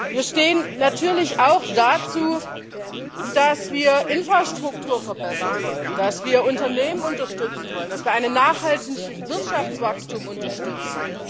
Wir stehen natürlich auch dazu, dass wir Infrastruktur verbessern wollen, dass wir Unternehmen unterstützen wollen, dass wir ein nachhaltiges Wirtschaftswachstum unterstützen.